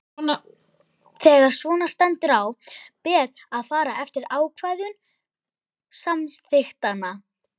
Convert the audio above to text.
Þegar svona stendur á ber að fara eftir ákvæðum samþykktanna.